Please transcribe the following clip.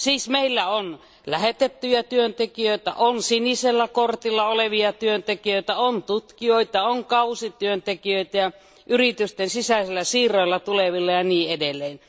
Meillä on lähetettyjä työntekijöitä, on sinisellä kortilla olevia työntekijöitä, on tutkijoita, on kausityöntekijöitä ja yritysten sisäisillä siirroilla tulevia työntekijöitä ja niin edelleen.